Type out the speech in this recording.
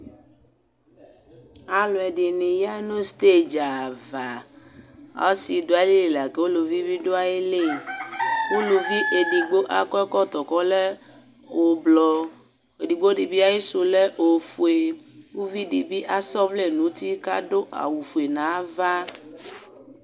ɑluedini yɑnu stedziava ɔsiduaili lɑku uluvibi duaili uluvi ɛdigbo ɑkɔoekoto kɔle ublo ɛdigbodibi ɑyisule ɔwfue uvidibi ɑsɔvlenuti kɑduawufue nɑva